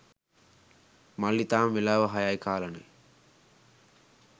මල්ලි තාම වෙලාව හයයි කාලනේ